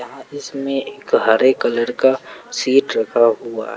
आ इसमें एक हरे कलर का सीट रखा हुआ--